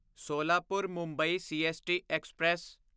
Solapur Mumbai CST express